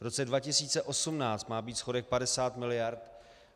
V roce 2018 má být schodek 50 mld.